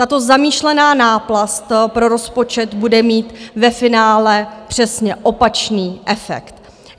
Tato zamýšlená náplast pro rozpočet bude mít ve finále přesně opačný efekt.